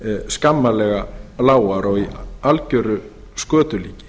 skammarlega lágar og í algeru skötulíki